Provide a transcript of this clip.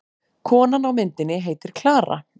Konan á myndinni heitir Klara.